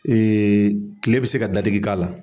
kile bɛ se ka dadiki k'a la.